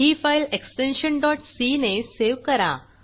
ही file extension c ने save करा